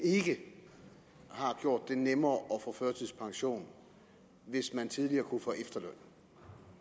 ikke har gjort det nemmere at få førtidspension hvis man tidligere kunne få efterløn